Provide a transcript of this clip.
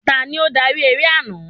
Tani ó darí eré àná?